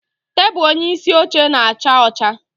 Tebụl onyeisi oche na-acha ọcha